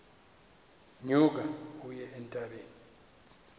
nyuka uye entabeni